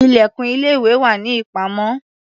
Ilẹ̀kùn ilé-ìwé wà ní ìpamọ́.